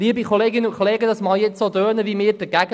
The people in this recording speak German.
– Es tönt, als wären wir dagegen.